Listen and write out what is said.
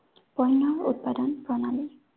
বন্য় উৎপাদন প্ৰণালী।